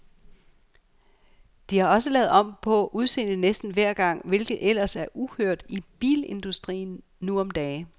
De har også lavet om på udseendet næsten hver gang, hvilket ellers er uhørt i bilindustrien nu om dage.